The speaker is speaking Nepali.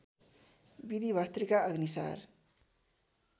विधि भस्त्रिका अग्निसार